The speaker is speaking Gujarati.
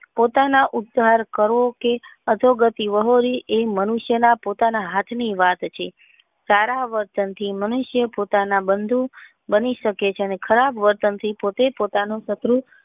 પોતાના ઉચ્ચાર કરો કે અધોગતિ વહોરવી એ મનુષ્ય ના હાથ ની વાત છે સારા વર્તન થી મનુષ્ય પોતાની બંધુ બની શકે છે ને ખરાબ વર્તન થી પોતાના શત્રુ